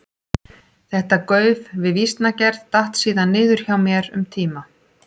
Þetta gauf við vísnagerð datt síðan niður hjá mér um tíma.